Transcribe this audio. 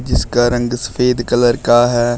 इसका रंग सफेद कलर का है।